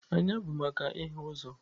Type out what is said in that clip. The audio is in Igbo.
Anya bụ maka ịhụ ụzọ.